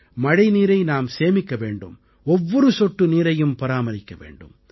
மழை நீரை நாம் சேமிக்க வேண்டும் ஒவ்வொரு சொட்டு நீரையும் பராமரிக்க வேண்டும்